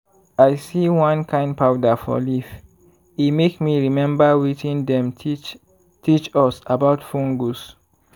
i see one kain powder for leaf e make me remember wetin dem teach teach us about fungus.